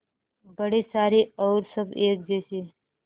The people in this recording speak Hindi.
बड़े सारे और सब एक जैसे